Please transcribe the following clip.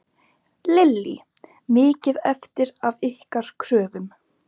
Lillý: Mikið eftir af ykkar kröfum?